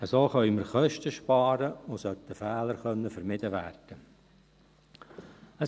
So können wir Kosten sparen, und Fehler sollten vermieden werden können.